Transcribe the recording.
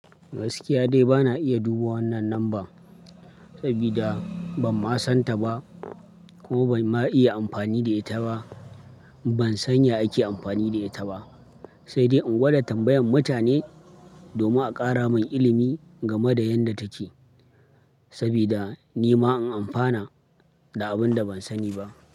Gaskiya dai bana iya duba wannan lamban, sabida ban ma san ta ba kuma ban ma iya amfani da ita ba. Ban san ya ake amfani da ita ba, sai dai in gwada tambayan mutane domin a kara min ilimi game da yanda take. Sabida ni ma in amfana da abin da ban sani ba.